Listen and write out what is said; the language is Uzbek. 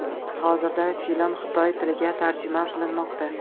Hozirda film xitoy tiliga tarjima qilinmoqda.